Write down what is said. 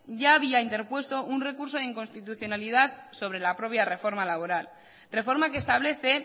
ya había interpuesto un recurso de inconstitucionalidad sobre la propia reforma laboral reforma que establece